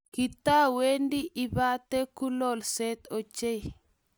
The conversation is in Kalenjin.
kitawendi ipate kulolsot ochei.